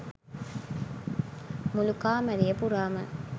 මුළු කාමරය පුරාම